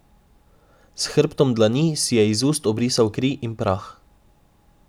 S hrbtom dlani si je iz ust obrisal kri in prah.